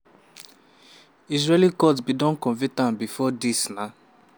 israeli court bin don convict am bifor – dis na